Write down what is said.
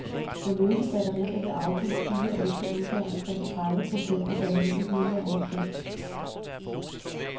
For løse batterier vil afgiften herefter udgøre omkring tredive procent af batteriets nuværende pris.